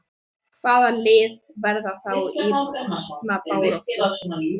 Hvaða lið verða þá í botnbaráttu?